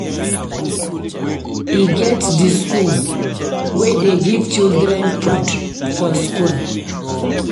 E get di skool wey dey give children food for skool.